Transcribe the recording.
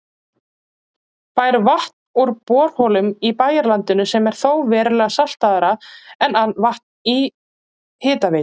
Fær vatn úr borholum í bæjarlandinu sem er þó verulega saltara en vatn Hitaveitu